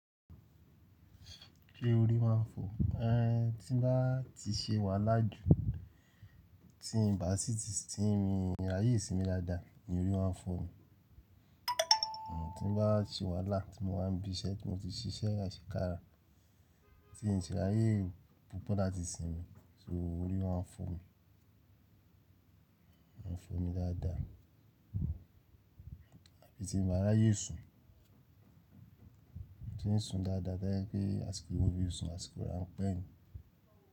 Ṣé orí máa ń fọ, ẹ́n tí ń bá ti ṣe wàhálà jù, tí ń bá sì ti, tí ń rí ayé ìsinmi dáadáa, ni orí máa ń fọ́ mi. Tí ń bá ti wàhálà ti mo wáa ń bí iṣẹ́ tí mo ti ṣiṣẹ́ àṣekára, tí ń sì rí ayé púpọ̀ láti sinmi, so orí máa ń fọ́ mi. Máa ń fọ́ mi dáadáa. Àbí tí mi ń báa ráyè sùn, tí ń sùn dáadáa to jẹ pé àsìkò tí mo fi sùn, àsìkò ran pẹ́ mi.